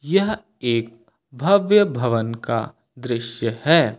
यह एक भव्य भवन का दृश्य है।